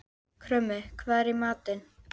Krummi, hvað er í matinn?